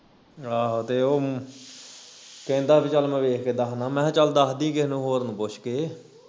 ਆਹੋ ਤੇ ਉਹ ਕਹਿੰਦਾ ਬਈ ਚਲ ਮੈਂ ਵੇਖ ਕੇ ਦੱਹਦਾ ਮੈਂ ਹਾਂ ਚੱਲ ਦੱਹ ਦੀ ਕਿਹੇ ਹੋਰ ਨੂੰ ਪੁੱਛ ਕੇ